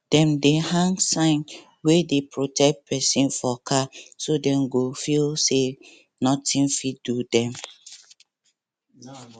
dem dey hang sign wey dey protect person for car so dey go feel say nothing fit do dem